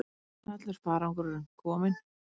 Allur farangurinn kominn